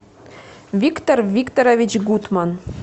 виктор викторович гутман